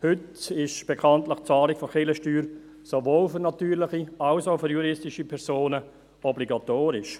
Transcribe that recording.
Heute ist die Bezahlung der Kirchensteuer bekanntlich sowohl für natürliche als auch für juristische Personen obligatorisch.